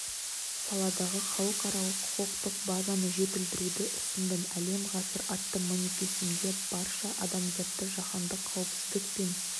саладағы халықаралық құқықтық базаны жетілдіруді ұсындым әлем ғасыр атты манифесімде барша адамзатты жаһандық қауіпсіздік пен